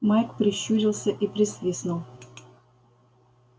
майк прищурился и присвистнул